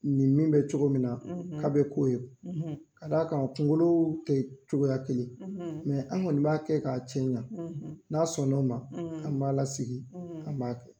Nin min bɛ cogo min na k'a bɛ k'o ye, ka d'a kan kunkolo tɛ cogoya kelen ye an kɔni b'a kɛ k'a cɛ ɲa n'a sɔn n'o ma, an b'a la sigi, an b'a kɛ.